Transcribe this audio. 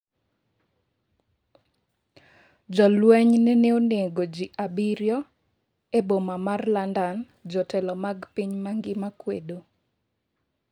Jolweny nene onego ji 7 e boma mar London, jotelo mag piny mangima kwedo